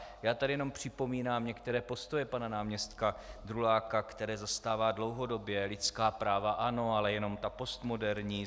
Já tady jenom připomínám některé postoje pana náměstka Druláka, které zastává dlouhodobě: Lidská práva ano, ale jenom ta postmoderní.